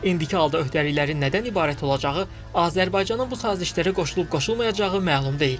İndiki halda öhdəliklərin nədən ibarət olacağı, Azərbaycanın bu sazişlərə qoşulub-qoşulmayacağı məlum deyil.